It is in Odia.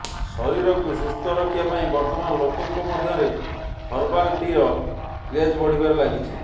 ଶରୀରକୁ ସୁସ୍ଥ ରଖିବା ପାଇଁ ବର୍ତ୍ତମାନ ଲୋକଙ୍କ ମଧ୍ୟରେ ହର୍ବାଲ ଟିର କ୍ରେଜ୍ ବଢ଼ିବାରେ ଲଗିଛି